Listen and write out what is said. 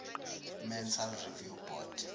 mental review board